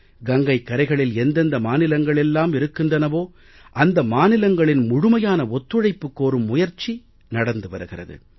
கங்கைக் கரைகளில் எந்தெந்த மாநிலங்கள் எல்லாம் இருக்கின்றனவோ அந்த மாநிலங்களின் முழுமையான ஒத்துழைப்பு கோரும் முயற்சி நடந்து வருகிறது